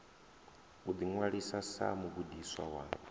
u ḓiṅwalisa sa mugudiswa wa